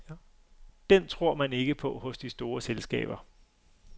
Den tror man ikke på hos de store selskaber.